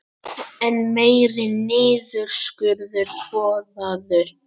Enn meiri niðurskurður boðaður